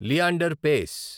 Leander Paes